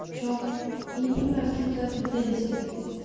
в чём я не понимаю в чём твоя претензия